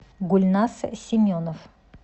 гульнас семенов